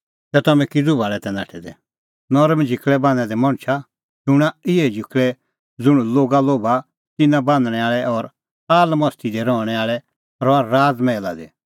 तै तम्हैं किज़ू भाल़ै नाठै तै नरम झिकल़ै बान्हैं दै मणछा शूणां इहै झिकल़ै ज़ुंण लोगा लोभा तिन्नां बान्हणैं आल़ै और आलमस्ती दी रहणैं आल़ै रहा राज़ मैहला दी